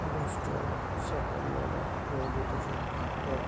আকাশটা সকালবেলা রোদ উঠেছে একটা--